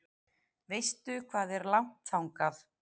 Veistu hvað er langt þangað?